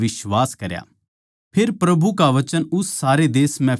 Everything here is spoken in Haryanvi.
फेर प्रभु का वचन उस सारे देश म्ह फैलाण लाग्या